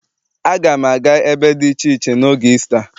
Aga m aga ebe dị iche iche n'oge Isita.